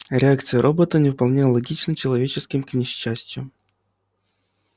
реакции робота не вполне аналогичны человеческим к несчастью